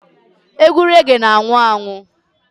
Egwu rege na-anwụ anwụ.